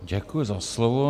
Děkuji za slovo.